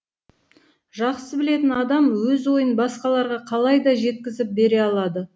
жақсы білетін адам өз ойын басқаларға қалайда жеткізіп бере алады